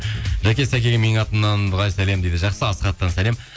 жәке сәкеге менің атымнан дұғай сәлем дейді жақсы асхаттан сәлем